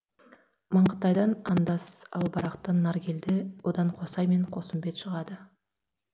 маңғытайдан андас ал барақтан наркелді одан қосай мен қосымбет шығады